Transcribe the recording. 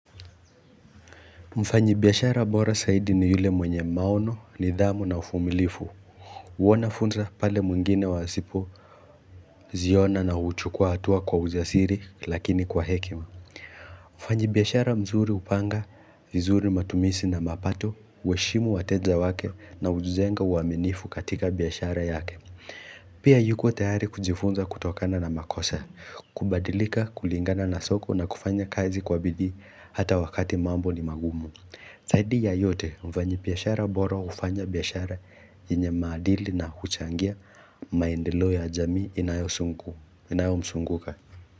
Mfanyabiashara bora zaidi ni yule mwenye maono, nidhamu na uvumilivu. Huona fursa pale mwingine wasipoziona na huchukua hatua kwa ujasiri lakini kwa hekima Mfanyabiashara mzuri hupanga vizuri matumizi na mapato, huheshimu wateja wake na hujenga uaminifu katika biashara yake Pia yuko tayari kujifunza kutokana na makosa, kubadilika kulingana na soko na kufanya kazi kwa bidii hata wakati mambo ni magumu Zaidi ya yote mfanyabiashara bora hufanya biashara enye maadili na huchangia maendeleo ya jamii inayomzunguka.